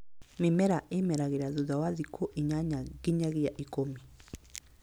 Mĩmera ĩmeragĩra thutha wa thikũinyanya nginyagia ikũmi